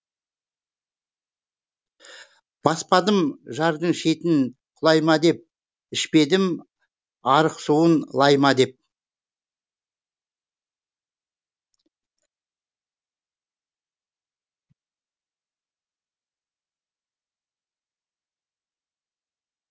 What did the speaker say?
баспадым жардың шетін құлай ма деп ішпедім арық суын лай ма деп